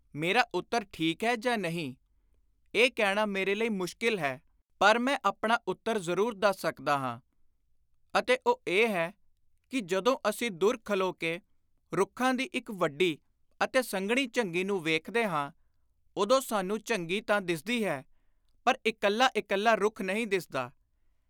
ਮੇਰਾ ਉੱਤਰ ਠੀਕ ਹੈ ਜਾਂ ਨਹੀਂ ? ਇਹ ਕਹਿਣਾ ਮੇਰੇ ਲਈ ਮੁਸ਼ਕਿਲ ਹੈ ਪਰ ਮੈਂ ਆਪਣਾ ਉੱਤਰ ਜ਼ਰੂਰ ਦੱਸ ਸਕਦਾ ਹਾਂ; ਅਤੇ ਉਹ ਇਹ ਹੈ ਕਿ ਜਦੋਂ ਅਸੀਂ ਦੁਰ ਖਲੋ ਕੇ ਰੁੱਖਾਂ ਦੀ ਇਕ ਵੱਡੀ ਅਤੇ ਸੰਘਣੀ ਝੰਗੀ ਨੂੰ ਵੇਖਦੇ ਹਾਂ ਉਦੋਂ ਸਾਨੂੰ ਝੰਗੀ ਤਾਂ ਦਿੱਸਦੀ ਹੈ ਪਰ ਇਕੱਲਾ ਇਕੱਲਾ ਰੁੱਖ ਨਹੀਂ ਦਿੱਸਦਾ।